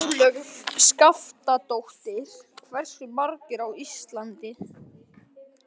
Ólöf Skaftadóttir: Hversu margar á Íslandi?